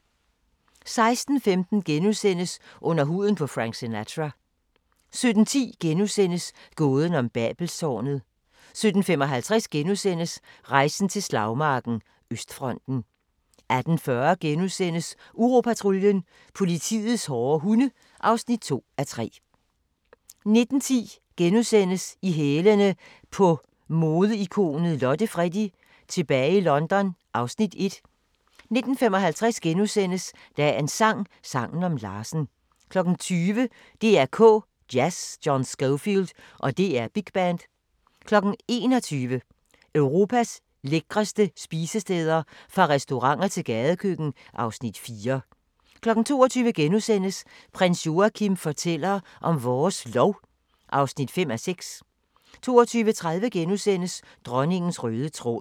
16:15: Under huden på Frank Sinatra * 17:10: Gåden om Babelstårnet * 17:55: Rejsen til slagmarken: Østfronten * 18:40: Uropatruljen – politiets hårde hunde (2:3)* 19:10: I hælene på modeikonet Lotte Freddie: Tilbage i London (Afs. 1)* 19:55: Dagens sang: Sangen om Larsen * 20:00: DR K Jazz: John Scofield og DR Big Band 21:00: Europas lækreste spisesteder – fra restauranter til gadekøkken (Afs. 4) 22:00: Prins Joachim fortæller om vores lov (5:6)* 22:30: Dronningens røde tråd *